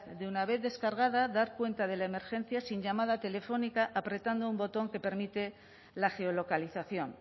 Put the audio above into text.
de una vez descargada dar cuenta de la emergencia sin llamada telefónica apretando un botón que permite la geolocalización